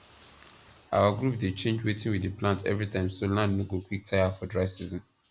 our group dey change wetin we dey plant everytime so land no go quick tire for dry season